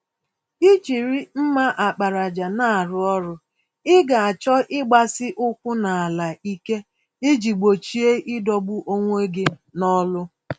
Ijiri mma àkpàràjà n'arụ ọrụ, Ị ga-achọ ịgbasi-ụkwụ-n'ala-ike, iji gbochie idọgbu onwe gị nọlụ